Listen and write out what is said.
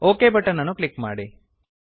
okay button ಅನ್ನು click ಮಾಡಿ